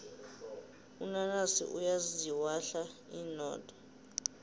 unanasi uyaziwahla inodo